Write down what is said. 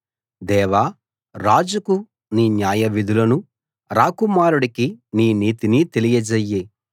దేవా రాజుకు నీ న్యాయవిధులను రాకుమారుడికి నీ నీతిని తెలియజెయ్యి